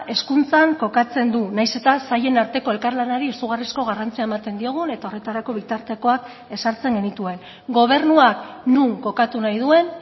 hezkuntzan kokatzen du nahiz eta sailen arteko elkarlanari izugarrizko garrantzia ematen diogun eta horretarako bitartekoak ezartzen genituen gobernuak non kokatu nahi duen